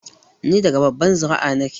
Ni daga babbar zuri'a na ke